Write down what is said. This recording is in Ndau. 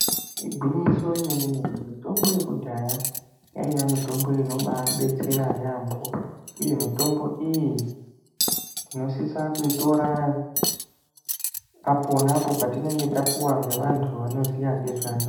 Gwinyiso romene mene, mitombo yekudhaya yaiva mitombo inombaibetsera yambo uye mitombo iyi tinosisa kuitora apo ngeapo patinenge tapiwa ngevanhu vanoziva.